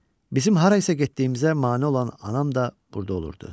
Bizim harayasa getdiyimizə mane olan anam da burda olurdu.